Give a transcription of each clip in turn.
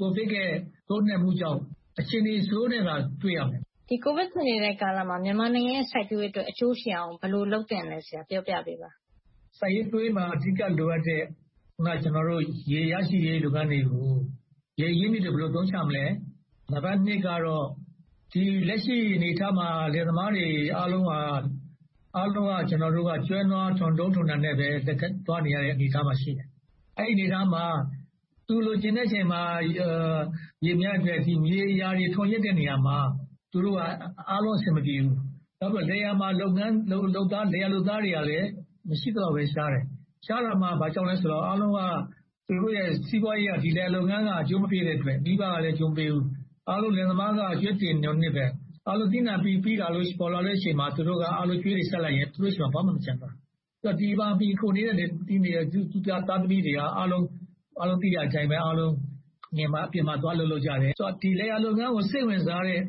ကိုဗစ်ရဲ့ ထိုးနှက်မှုကြောင့် အခြေအနေဆိုးထက်သာ တွေ့ရမယ်။ ကိုဗစ်ဖြစ်နေတဲ့ ကာလမှာ မြန်မာနိုင်ငံရဲ့ စိုက်ပျိုးရေးအတွက် အကျိုးရှိအောင် ဘယ်လိုလုပ်သင့်သလဲ ပြောပြပေးပါ။ စိုက်ပျိုးရေးမှာ အဓိကလိုအပ်တဲ့ အခုန ကျနော်ပြောတဲ့ ရေရရှိရေး လုပ်ငန်းတွေမှာ ရေအရင်းအမြစ်တွေကို ဘယ်လိုအသုံးချမလဲ။ နံပတ်နှစ်ကတော့ လက်ရှိအနေအထားမှာ လယ်သမားတွေအားလုံးက ကျနော်တို့က ကျွဲနွားထွန်းတုံးထွန်းတံနဲ့ပဲ သွားနေရတဲ့ အနေအထားမှာပဲ ရှိနေတယ်။ အဲဒီအနေအထားမှာ သူလိုချင်တဲ့အချိန်မှာ ရေမရတဲ့အတွက် မြေယာတွေ ထွန်းယက်တဲ့နေရာမှာ အားလုံးအဆင်မပြေဘူး။ နောက်ပြီး လယ်ယာမှာ လုပ်သားတွေက မရှိသလောက်လဲ ရှားတယ်။ ရှားတာ ဘာကြောင့်လဲဆိုတော့ အားလုံးက သူတို့ရဲ့ ဒီလယ်ယာလုပ်ငန်းက အကျိုးမပေးဘူးအတွက်။ မိဘကလဲ အကျိုးမပေးတဲ့အတွက် အားလုံးလယ်သမားတွေက ကြွေးတင်နွန်နစ်ပဲ - အားလုံးက သီးနံှပေါ်လာချိန်မှာ သူတို့က ကြွေးတွေဆပ်လိုက်လို့ရှိရင် သူတို့ဆီမှာ ဘာမှမကျန်တော့ဘူး။ ဒီမှာ မှီခိုနေတဲ့ လယ်သမားသားသမီးတွေက အားလုံးသိကြတဲ့အတိုင်း နယ်မှာ၊ အပြင်မှာ သွားလုပ်ကြတယ်။ ဆိုတော့ လယ်ယာလုပ်ငန်းကို စိတ်ဝင်စားတဲ့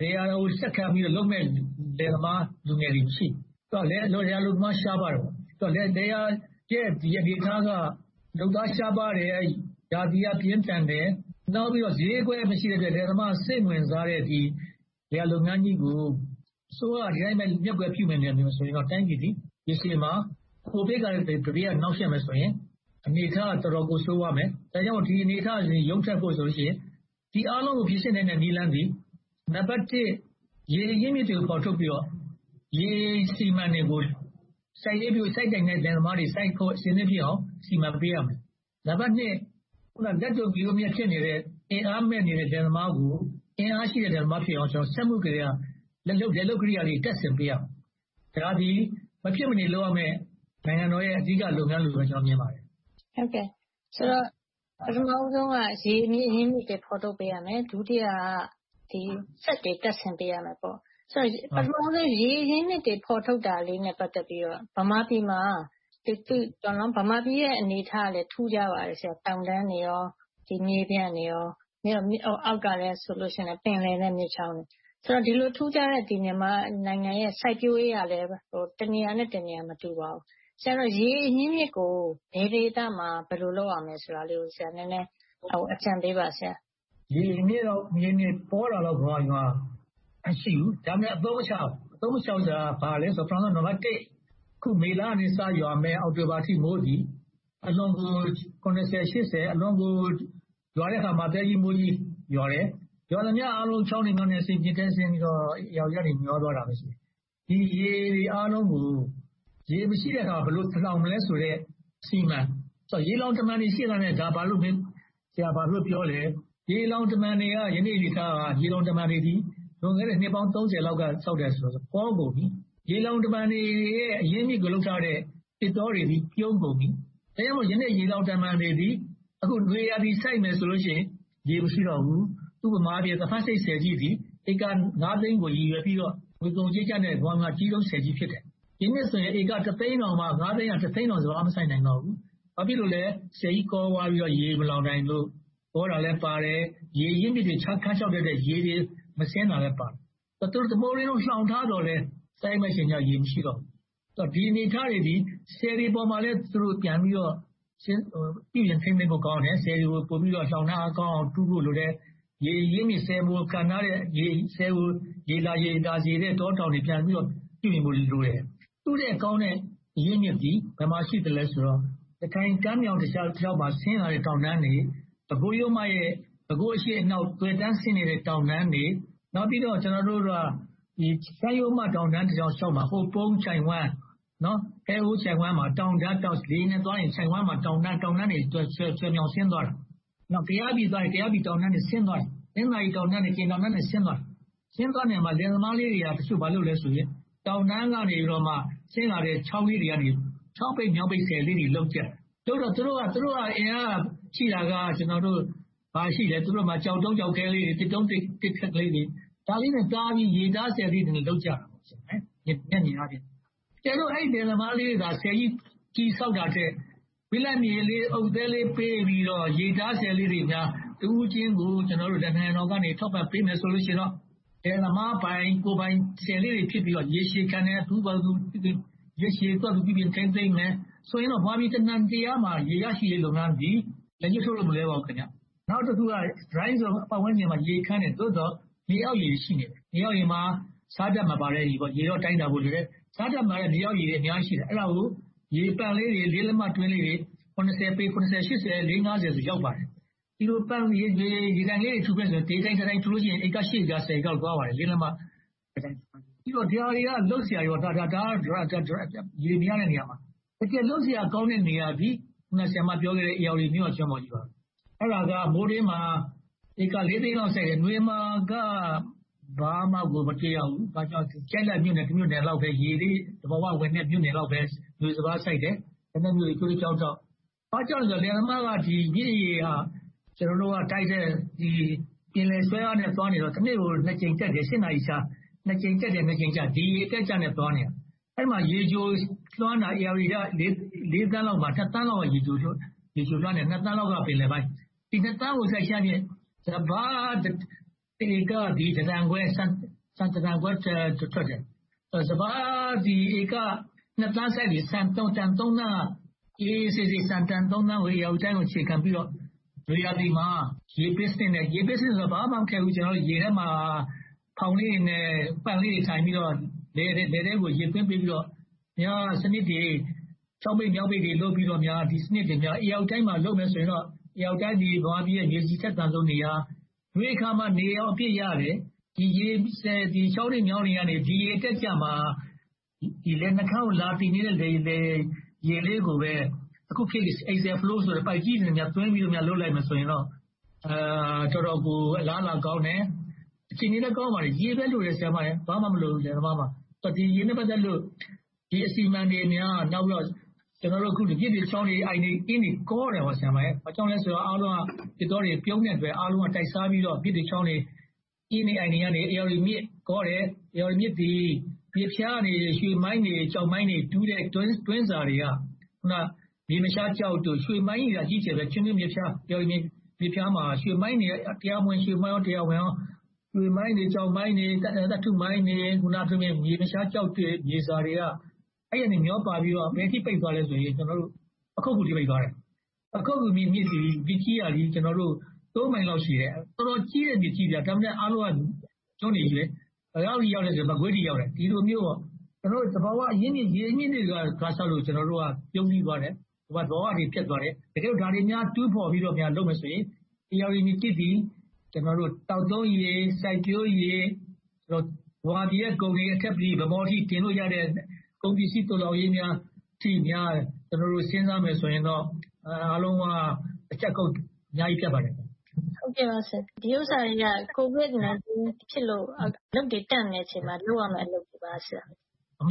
လယ်ယာကိုဆက်ခံပြီးလုပ်မယ့် လူငယ်တွေ မရှိတော့ဘူး။ လယ်ယာအလုပ်သမား ရှားပါးလာတယ်။ လယ်ယာရဲ့ အနေအထားက လုပ်သားရှားပါးတယ်။ ရာသီဥတုက ပြင်းထန်တယ်။ နောက်ပြီးတော့ ဈေးကွက်မရှိတဲ့အတွက် လယ်သမားက စိတ်ဝင်စားတော့တဲ့ လယ်ယာလုပ်ငန်းကြီးကို အစိုးရက ဒီအတိုင်းပဲ မျက်ကွယ်ပြုနေမယ်ဆိုရင်တော့ တိုင်းပြည်သည် ရေရှည်မှာ ကိုဗစ်ကလဲ နှောင့်ယှက်မယ်ဆိုရင် အနေအထားက တော်တော်ကို ဆိုးဝါးမယ်။ ဒါကြောင့် ဒီအနေအထားကနေ ရုန်းထွက်ဖို့ဆိုရင် ဒီအားလုံးကို ပြင်ဆင်နိုင်သည့် နည်းလမ်းသည် နံပတ်တစ် ရေအရင်းအမြစ်တွေကို ဖော်ထုတ်ပြီးတော့ ရေအစီအမံတွေကို စိုက်နိုင်တဲ့ လယ်သမားတွေ စိုက်ဖို့ အဆင်သင့်ဖြစ်အောင် စီမံပေးရမယ်။ နံပတ်နှစ် လက်လုပ်လယ်ယာ အင်အားမဲ့နေတဲ့ လယ်သမားတွေကို အင်အားရှိတဲ့ လယ်သမားဖြစ်အောင် စက်မှုလယ်ယာ လယ်လုပ်ကရိယာတွေ တပ်ဆင်ပေးရမယ်။ ဒါတွေက မဖြစ်မနေလုပ်ရမယ့် နိုင်ငံတော်ရဲ့ အဓိကလုပ်ငန်းတွေလိုပဲ ကျနော်မြင်ပါတယ်။ ဆိုတော့ ပထမဦးဆုံးက ရေအရင်းအမြစ်တွေ ဖော်ထုတ်ပေးရမယ်။ ဒုတိယက စက်တွေတပ်ဆင်ပေးရမယ်။ ပထမဦးဆုံး ရေအရင်းအမြစ်တွေ ဖော်ထုတ်တာလေးနဲ့ ပတ်သက်ပြီးတော့ ဗမာပြည်မှာ ဗမာပြည်ရဲ့ အနေအထားကလဲ ထူးခြားပါတယ်။ တောင်တန်းတွေ၊ မြေပြန့်တွေနဲ့ အောက်ကလဲ ပင်လယ်နဲ့မြစ်ချောင်းတွေနဲ့ဆိုတော့ ဒီလိုထူးခြားတဲ့ နိုင်ငံမှာ စိုက်ပျိုးရေးကလဲ တနေရာနဲ့ တနေရာ မတူပါဘူး။ ဆိုတော့ ရေအရင်းအမြစ်ကို ဘယ်ဒေသမှာ ဘယ်လိုလုပ်ရမလဲဆိုတာလေးကို ဆရာနည်းနည်း အကြံပေးပါ။ ရေအရင်းအမြစ်ပေါတာလောက် ဗမာပြည်မှာ မရှိဘူး။ ဒါပေမဲ့ အသုံးမချဘူး။ အသုံးမချဘူးဆိုတာက နံပတ်တစ် အခု မေလက စရွာမယ့် အောက်တိုဘာလအထိ မိုးသည် အလွန်ကို ရွာတဲ့အခါမှာ သဲကြီးမဲကြီး ရွာတယ်။ ရွာသမျှအားလုံး ချောင်းတွေ၊ မြောင်းတွေ၊ မြစ်တွေထဲ ဆင်းပြီးတော့ ဧရာဝတီကနေ မျှောသွားတာပဲ ရှိတယ်။ ဒီရေတွေအားလုံးကို ရေမရှိတဲ့အခါမှာ ဘယ်လိုလှောင်မလဲဆိုတဲ့ အစီအမံ။ ရေလှောင်တမံတွေ ရှိနေရဲ့နဲ့ ဒါကို ဆရာ ဘာဖြစ်လို့ပြောသလဲ။ ရေလှောင်တမံတွေက ဒီနေ့အနေအထားက ရေလှောင်တမံတွေသည် လွန်ခဲ့သည့် နှစ်ပေါင်း လောက်က ဆောက်ခဲ့တယ်ဆိုတော့ ကောကုန်ပြီ။ ရေလှောင်တမံတွေရဲ့ အရင်းအမြစ်ကို လုပ်ထားတဲ့ သစ်တောတွေသည် ပြုန်းကုန်ပြီ။ အဲဒါကြောင့် ယနေ့ ရေလှောင်တမံတွေသည် အခု နွေရာသီစိုက်မယ်ဆိုရင် ရေမရှိတော့ဘူး။ ဥပမာအားဖြင့် သဖန်ဆိပ်ဆည်ကြီးသည် ဧက သိန်းကို ရည်ရွယ်ပြီးတော့ ငွေကုန်ကြေးကျနဲ့ ဆောက်ခဲ့တဲ့ ကမ္ဘာမှာ အကြီးဆုံးဆည်ကြီး ဖြစ်တယ်။ ဒီနှစ်ဆိုရင် ဧက သိန်းတောင်မှ စပါးမစိုက်နိုင်တော့ဘူး။ ဘာဖြစ်လို့လဲဆိုတော့ ဆည်ကြီးကောသွားပြီးတော့ ရေမလှောင်နိုင်လို့ ကောတာလဲပါတယ်။ ရေအရင်းအမြစ်တွေ ခမ်းခြောက်တဲ့အတွက် ရေတွေမဆင်းတာလဲပါတယ်။ သူတို့ တမိုးတွင်းလုံး လှောင်ထားသော်လဲ စိုက်ရမယ့်အချိန်ကြတော့ ရေမရှိတော့ဘူး။ ဒီအနေအထားတွေသည် ဆည်တွေပေါ်မှာလဲ သူတို့ပြန်ပြီးတော့ ပြုပြင်ထိန်းသိမ်းဖို့ကောင်းတယ်။ ဆည်တွေ လှောင်ထားကောင်းအောင် တူးဖို့လိုတယ်။ ရေအရင်းအမြစ် ဆည်ကို ရေလာရေသာစေတဲ့ တောတောင်တွေ ပြန်ပြီးတော့ ပြုပြင်ဖို့လိုတယ်။ သူထက်ကောင်းတဲ့ အရင်းအမြစ်သည် ဘယ်မှာရှိသလဲဆိုတော့ ရခိုင်ကမ်းမြောင်းတလျှောက်မှာ ဆင်းလာတဲ့ တောင်တန်းတွေ၊ ပဲခူး အရှေ့အနောက် သွယ်တန်းဆင်းနေတဲ့ တောင်တန်းတွေ။ နောက်ပြီးတော့ ရှမ်းရိုမတောင်တန်းတလျှောက်မှာ ဟိုးပုန်းချိုင့်ဝှမ်း၊ ဟဲဟိုချိုင့်ဝှမ်းမှာ တောတန်းတွေ လေယာဉ်နဲ့သွားရင် သွယ်မြောင်ဆင်းသွားတာ။ ကယားပြည်သွားရင် တောတောင်တွေ ဆင်းသွားတာ။ တနင်္သာရီ၊ ကရင်တောတန်းတွေ ဆင်းသွားတာ။ ဆင်းသွားတဲ့နေရာမှာ လယ်သမားလေးတွေက ဘာလုပ်လဲဆိုရင် တောတန်းကနေ ဆင်းလာတဲ့ ချောင်းလေးတွေကနေ ချောင်းပိတ်၊ မြောင်းပိတ်ဆည်လေးတွေ လုပ်ကြတယ်။ လုပ်တော့ သူတို့က အင်အားရှိတာက ဘာရှိမလဲ။ ကျောက်တုံးကျောက်ခဲလေးတွေ၊ သစ်တုံးသစ်ခက်ကလေးတွေ၊ ဒါလေးတွေ တားပြီးတော့ ရေတားဆည်လေးတွေ လုပ်ကြတယ်။ အကယ်လို့ အဲဒီလယ်သမားလေးတွေက ဆည်ကြီး အကြီးကြီးဆောက်တာထက်၊ ဘိလပ်မြေလေး၊ အုတ်သဲလေး ပေးပြီးတော့ ရေတားဆည်လေးတွေများ တဦးချင်းကို ကျနော်တို့ နိုင်ငံတော်က ထောက်ပံ့ပေးမယ်ဆိုရင်တော့ လယ်သမားပိုင်၊ ကိုယ်ပိုင်ဆည်လေးတွေ ဖြစ်ပြီးတော့ ရေရှည်ခံ သူ့ဘာသာသူ ထိန်းသိမ်းမယ်၊ လုပ်မယ်ဆိုရင်တော့ ဗမာပြည် တနုံတလျားမှာ ရေရရှိရေးလုပ်ငန်းသည် လက်ညှိုးထိုးလို့ မလွှဲပါဘူး။ နောက်တခုက Dry Zone ပတ်ဝန်းကျင်မှာ ရေခမ်းတယ်။ သို့သော် မြေအောက်ရေတွေ ရှိတယ်။ မြေအောက်ရေမှာ ဆားဓါတ်မပါတဲ့ ရေပေါ့။ ရေတော့ တိုင်းတာဖို့လိုတယ်။ ဆားဓါတ်မပါတဲ့ မြေအောက်ရေတွေ အများကြီးရှိတယ်။ အဲဒါကို ရေပန့်လေးတွေ၊ လေးလက်မတွင်းလေးတွေ ပေ ဆိုရင် ရောက်ပါတယ်။ ဒီလို ရေပန့်လေးတွေ တူးမယ်ဆိုရင် တစ်ခုထောင်မယ်ဆိုရင် ဧက လောက် ရပါတယ်။ ဒါတွေက လုပ်စရာတွေ၊ ရေမရတဲ့ နေရာတွေမှာပါ။ တကယ်လုပ်စရာကောင်းတဲ့ နေရာသည် အခုန ဆရာမပြောခဲ့တဲ့ ဧရာဝတီမြစ်ဝကျွန်းပေါ်ဒေသ။ အဲဒါက မိုးတွင်းမှာ ဧက သိန်းလောက် စိုက်တယ်။ နွေမှာ ဧက ဘာမှကို မတွေ့ရဘူး။ ကျိုက်လတ်မြို့နယ်တမြို့နယ်လောက်ပဲ သဘာဝရေနဲ့ နွေစပါးစိုက်တယ်။ ဘာကြောင့်လဲဆိုတော့ လယ်သမားက မြစ်ရေက ပင်လယ်ဆွဲအားနဲ့ သွားနေတော့ တနေ့ကို နှစ်ကြိမ်တက်တယ်။ နာရီခြား နှစ်ကြိမ်တက်တယ်၊ နှစ်ကြိမ်ကျတယ်။ ဒီရေအတက်အကျနဲ့ သွားနေတာ။ အဲဒီမှာ ရေချိုလွှမ်းတာ ဧရာဝတီက သန်းလောက်မှာ သန်းလောက်က ရေချိုလွှမ်းတယ်။ သန်းလောက်က ပင်လယ်ပိုင်းမှာ။ ဒီ သန်းကို စိုက်ချပြစ်၊ စပါး ဧကသည် ဆန် တန်ခွဲ ထွက်တယ်။ စပါးသည် ဧက သန်းစိုက်ရင် ဆန်တန် သောင်းလောက် ဧရာဝတီတိုင်းကို အခြေခံပြီးတော့ နွေရာသီမှာ ရေပေးစနစ်နဲ့ - ရေပေးစနစ်ဆိုတာ ဘာမှမခက်ဘူး။ ရေထဲမှာ ဖောင်းလေးတွေနဲ့ ပန့်လေးတွေ ထိုင်ပြီးတော့ လယ်ထဲကို ရေသွင်းပေးပြီးတော့ ချောင်းပိတ်၊ မြောင်းပိတ်တွေ လုပ်ပြီးတော့ ဒီစနစ်တွေများ ဧရာဝတီတိုင်းမှာ လုပ်မယ်ဆိုရင်တော့ ဧရာဝတီတိုင်းသည် မြန်မာပြည်ရဲ့ မြေဆီအထက်သန်ဆုံးနေရာ။ နွေအခါမှာ နေရောင်အပြည့်ရတယ်။ ချောင်းတွေမြောင်းတွေကနေ ဒီရေအတက်အကျမှာ လယ်နှုတ်ခမ်းကိုလာတဲ့ ရေလေးကိုပဲ ပိုက်ကြီးတွေနဲ့ သွင်းပြီးလုပ်လိုက်မယ်ဆိုရင်တော့ တော်တော်ကို အလားအလာကောင်းတယ်။ အခြေအနေကောင်းပါတယ်။ ရေပဲ လိုပါတယ်။ လယ်သမားမှာ ဘာမှမလိုပါဘူး။ ရေနဲ့ ပတ်သက်လို့ ဒီလိုအစီအမံတွေများ ဒီမြစ်တွေ၊ ချောင်းတွေ၊ အိုင်တွေ၊ အင်းတွေ ကောနေလာတာ၊ ဘာကြောင့်လဲဆိုတော့ သစ်တောတွေ ပြုန်းတဲ့အတွက်၊ အားလုံးတိုက်စားပြီးတော့ မြစ်တွေ၊ ချောင်းတွေ၊ အင်းတွေ၊ အိုင်တွေကနေ ဧရာဝတီမြစ်ကောတယ်။ ဧရာဝတီမြစ်သည် မြစ်ဖျားကနေ ရွှေမိုင်းတွေ၊ ကျောက်မိုင်းတွေ တူးတဲ့တွင်းစာတွေက အခုန မြေမရှားကျောက်တို့၊ ရွှေမိုင်းကြီးတွေက အကြီးအကျယ်ပဲ။ ချင်းတွင်းမြစ်ဖျားမှာ ရွှေမိုင်းတွေက တရားဝင်၊ တရားမဝင် ရှိကြတယ်။ ရွှေမိုင်းတွေ၊ ကျောက်မိုင်းတွေ၊ သတ္တုမိုင်းတွေ၊ မြေမရှားကျောက် မြေစာတွေက မျှောပါပြီးတော့ ရေစီးပိတ်သွားခဲ့တာ ဘယ်အထိ ပိတ်သွားသလဲဆိုရင် ပခုက္ကူအထိ။ ပခုက္ကူအထိ မြစ်ကြီးဟာ မိုင်လောက်ရှည်တယ်။ တော်တော်ကြီးတဲ့ မြစ်ကြီး။ ဒါပေမဲ့ အားလုံးက ကျွန်းတွေကြီး ဖြစ်ကုန်တယ်။ ဘယ်လောက်အထိ ရောက်သလဲဆိုရင် မကွေးအထိ ရောက်တယ်။ ဒီလိုမျိုး သဘာဝအရင်းအမြစ် ရေအရင်းအမြစ်တွေကြောင့် ပြုန်းတီးသွားတယ်။ ဘဝတွေ ပျက်သွားတယ်။ တကယ်လို့ ဒါတွေကို တူးဖော်ပြီးတော့ ပြန်လုပ်မယ်ဆိုရင် ဧရာဝတီမြစ်ကြီးသည် သောက်သုံးရေ၊ စိုက်ပျိုးရေ၊ ဗမာပြည်ရဲ့ ကုန်တွေကို ဗန်းမော်အထိ တင်လို့ရတဲ့ ကုန်ပစ္စည်းသိုးလှောင်ရေးများအထိ စဉ်းစားမယ်ဆိုရင်တော့ အားလုံးက တချက်ခုတ် အများကြီးပြတ်ပါတယ်။ ဒီဥစ္စာတွေက ကိုဗစ်-၁၉ ဖြစ်လို့ အလုပ်တွေတန့်နေချိန်မှာ လုပ်ရမယ့် အလုပ်တွေပါ။ မှန်